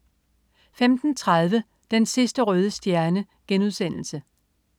15.30 Den sidste røde stjerne*